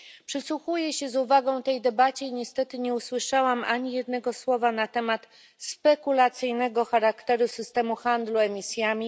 Przysłuchuję się z uwagą tej debacie i niestety nie usłyszałam ani jednego słowa na temat spekulacyjnego charakteru systemu handlu emisjami.